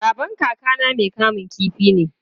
Babban kakana mai kamun kifi ne.